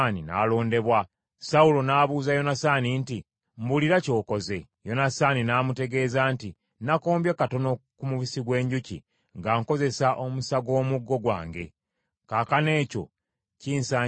Sawulo n’abuuza Yonasaani nti, “Mbulira ky’okoze.” Yonasaani n’amutegeeza nti, “Nakombyeko katono ku mubisi gw’enjuki nga nkozesa omusa gw’omuggo gwange. Kaakano ekyo kinsanyiza okufa?”